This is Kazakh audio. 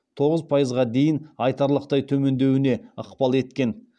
тоғыз пайызға дейін айтарлықтай төмендеуіне ықпал еткен